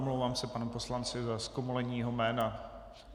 Omlouvám se panu poslanci za zkomolení jeho jména.